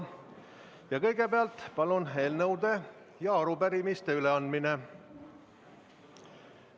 Ja kõigepealt, palun, eelnõude ja arupärimiste üleandmine.